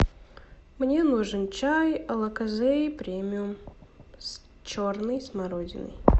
мне нужен чай алокозэй премиум с черной смородиной